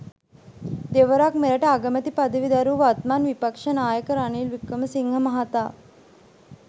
දෙවරක් මෙරට අගමැති පදවි දැරූ වත්මන් විපක්ෂ නායක රනිල් වික්‍රමසිංහ මහතා